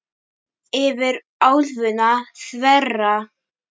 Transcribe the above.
Yfir álfuna þvera